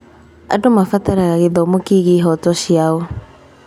Andũ marabatara gĩthomo kĩgiĩ ihooto ciao.